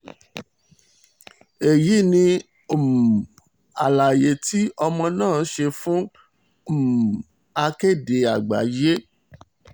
èyí ni um àlàyé tí ọmọ náà ṣe fún um akéde àgbáyé